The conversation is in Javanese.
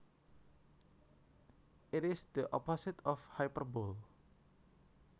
It is the opposite of hyperbole